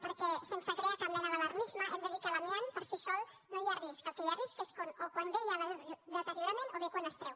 perquè sense crear cap mena d’alarmisme hem de dir que l’amiant per si sol no hi ha risc el que hi ha risc és o quan bé hi ha deteriorament o bé quan es treu